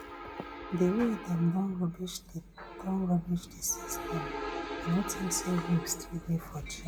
di way dem don rubbish di don rubbish di system i no think say hope still dey for change